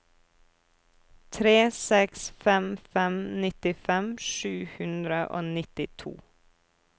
tre seks fem fem nittifem sju hundre og nittito